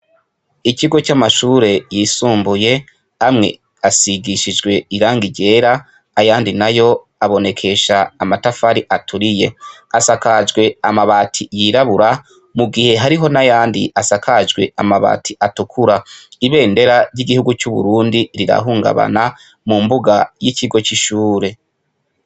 Ikigo c'amashure yisumbuye, amwe asigishijwe irangi ryera, ayandi na yo aboneshesha amatafari aturiye. Asakajwe amabati yirabura, mu gihe hariho n'ayandi asakajwe amabati atukura. Ibendera ry'igihugu c'Uburundi rirahungabana mu mbuga ry'ikigo c'ishure.